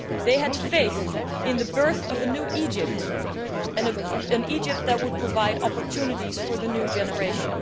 They had faith in the birth of a new Egypt, an Egypt that would provide opportunities for the new generation.